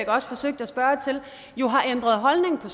også forsøgte at spørge til jo har ændret holdning på